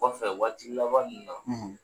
Kɔfɛ waati laban n na